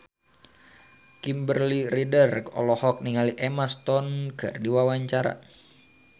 Kimberly Ryder olohok ningali Emma Stone keur diwawancara